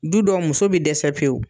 Du dɔw muso bɛ dɛsɛ pewu.